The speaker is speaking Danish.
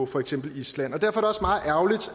for eksempel island derfor